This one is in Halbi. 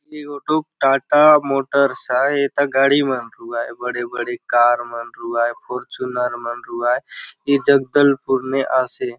टोयटा टाटा मोटर आय एथा गाड़ी मन रहूआय बड़े - बड़े कार मन रहूआय फाचयूनर मन रहूआय ए जगदलपुर ने आसे।